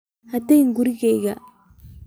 Ha tagin gurigaaga